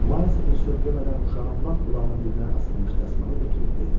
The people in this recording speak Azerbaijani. Mayls bir söz demədən uşağın lap qulağının dibinə asılmış dəsmalı götürüb verdi.